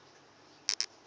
abd allah ibn